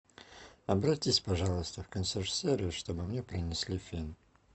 обратись пожалуйста в консьерж сервис чтобы мне принесли фен